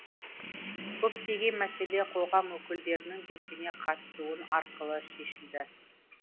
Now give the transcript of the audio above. көптеген мәселе қоғам өкілдерінің белсене қатысуы арқылы шешілді